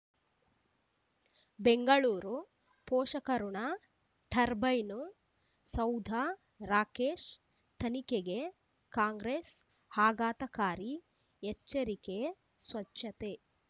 ಬೆಂಗಳೂರು ಪೋಷಕಋಣ ಟರ್ಬೈನು ಸೌಧ ರಾಕೇಶ್ ತನಿಖೆಗೆ ಕಾಂಗ್ರೆಸ್ ಆಘಾತಕಾರಿ ಎಚ್ಚರಿಕೆ ಸ್ವಚ್ಛತೆ